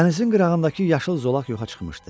Dənizin qırağındakı yaşıl zolaq yoxa çıxmışdı.